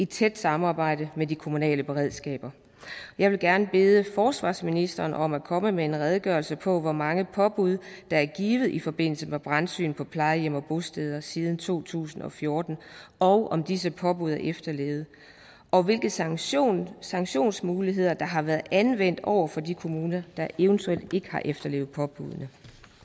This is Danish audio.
tæt samarbejde med de kommunale beredskaber jeg vil gerne bede forsvarsministeren om at komme med en redegørelse på hvor mange påbud der er givet i forbindelse med brandsyn på plejehjem og bosteder siden to tusind og fjorten og om disse påbud er efterlevet og hvilke sanktionsmuligheder sanktionsmuligheder der har været anvendt over for de kommuner der eventuelt ikke har efterlevet påbuddene